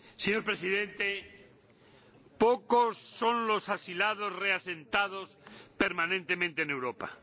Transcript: Señor Presidente, pocos son los asilados reasentados permanentemente en Europa.